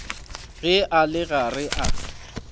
ge a le gare a